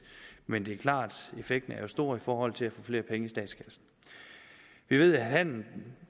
men det er klart at effekten er stor i forhold til at få flere penge i statskassen vi ved handelen